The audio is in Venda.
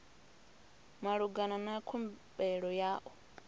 malugana na khumbelo ya u